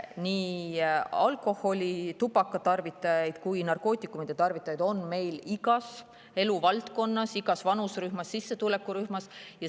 Nii alkoholi ja tubaka tarvitajaid kui ka narkootikumide tarvitajaid on meil igas eluvaldkonnas, igas vanuserühmas ja igas sissetulekurühmas.